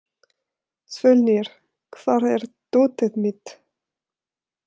Svölnir, hvar er dótið mitt?